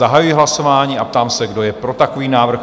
Zahajuji hlasování a ptám se, kdo je pro takový návrh?